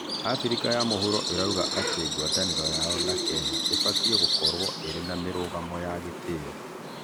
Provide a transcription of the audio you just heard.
Afrĩka ya mũhũro ĩraũga ati ngwatanĩro yao na Kenya ubatĩe gũkorwo urĩ na mirũgamo ya ĩtĩo